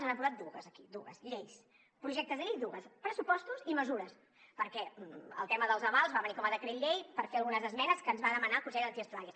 n’han aprovat dues aquí dues de lleis projectes de llei dos pressupostos i mesures perquè el tema dels avals va venir com a decret llei per fer algunes esmenes que ens va demanar al consell de garanties estatutàries